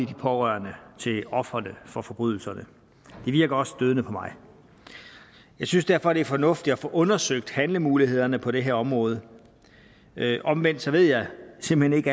de pårørende til ofrene for forbrydelserne det virker også stødende på mig jeg synes derfor at det er fornuftigt at få undersøgt handlemulighederne på det her område omvendt vil jeg simpelt